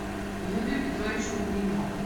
юрию петровичу гриневу